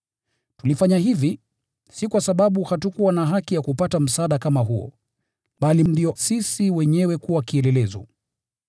Tulifanya hivi, si kwa sababu hatukuwa na haki ya kupata msaada kama huo, bali ndio sisi wenyewe tuwe kielelezo.